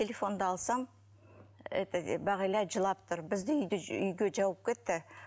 телефонды алсам это бағила жылап тұр бізді үйге жауып кетті